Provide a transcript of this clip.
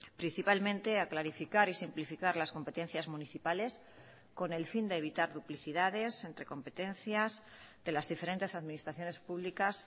principalmente a clarificar y simplificar las competencias municipales con el fin de evitar duplicidades entre competencias de las diferentes administraciones públicas